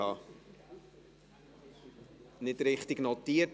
Ich habe es nicht richtig notiert: